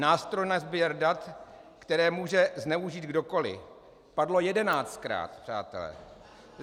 Nástroj na sběr dat, která může zneužít kdokoliv - padlo jedenáctkrát, přátelé.